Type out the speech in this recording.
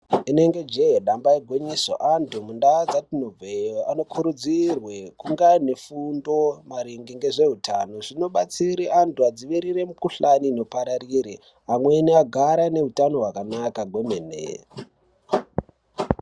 Rinenge je damba igwinyiso antu mundau yatinobva iyo anokurudzirwa kunge ane fundo maringe nezvehutano zvinobatsira antu adzivurire mukuhlani inopararira pamweni agare ane hutano hwakanaka kwemene.